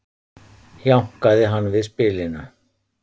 jánkaði hann við spilinu